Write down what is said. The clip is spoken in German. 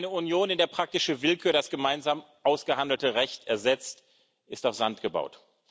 Eine Union, in der praktische Willkür das gemeinsam ausgehandelte Recht ersetzt, ist auf Sand gebaut.